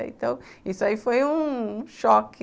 Então, isso aí foi um choque.